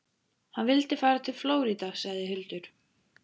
Hann vildi fara til Flórída, sagði Hildur.